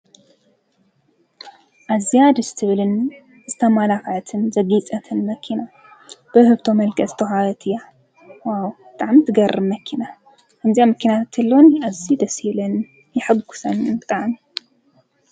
አዝያ ደስ ትብለኒ ዝተማልከዐትን ዘጌፄትን መኪና። ብዉህብቶ መልክዕ ዝተወሃበት እያ። ዋው ብጣዕሚ ትገርም መኪና። ከምዚኣ መኪና ተትህልወኒ አዝዩ ደስ ይብለኒ። የሕጉሰኒ ብጣዕሚ።